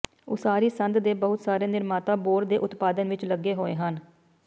ਉਸਾਰੀ ਸੰਦ ਦੇ ਬਹੁਤ ਸਾਰੇ ਨਿਰਮਾਤਾ ਬੋਰ ਦੇ ਉਤਪਾਦਨ ਵਿੱਚ ਲੱਗੇ ਹੋਏ ਹਨ